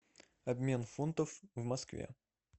обмен фунтов в москве